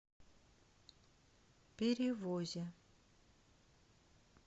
перевозе